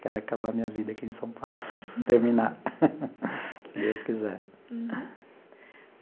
Quero acabar a minha vida aqui em São Paulo, terminar, se Deus quiser.